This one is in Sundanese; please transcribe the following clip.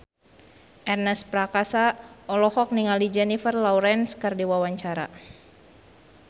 Ernest Prakasa olohok ningali Jennifer Lawrence keur diwawancara